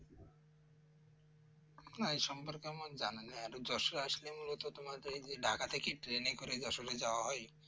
না এ সম্পর্কে আমার জানা নেই আর যশোর আসলে মূলত তোমার যে ঢাকা থেকে Train করে যশোর যাওয়া হয়